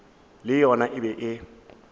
le yona e be e